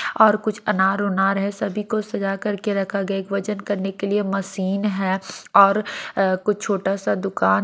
और कुछ अनार उनार है सभी को सजा करके रखा गया एक वजन करने के लिए मशीन है और कुछ छोटा सा दुकान--